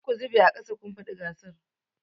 Duk ku zube aƙasa! kun faɗi gasar.